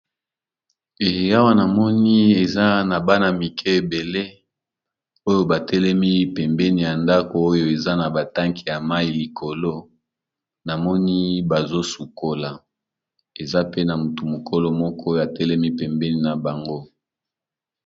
Awa namoni eza na bana mike ebele oyo batelemi pembeni ya ndako. Oyo eza na batake ya mai likolo namoni bazosukola eza pe na motu mokolo moko oyo atelemi pembeni na bango.